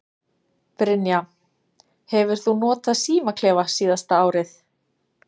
Brynja: Hefur þú notað símaklefa síðasta árið?